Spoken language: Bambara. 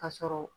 Ka sɔrɔ